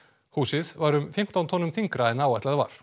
húsið var um fimmtán tonnum þyngra en áætlað var